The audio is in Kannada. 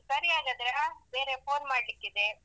ಸರಿ ಹಾಗಾದ್ರೆ ಹ ಬೇರೆ phone ಮಾಡ್ಲಿಕ್ಕಿದೆ.